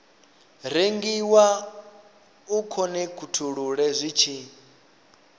rengiwa u khonekhithululwe zwi tshi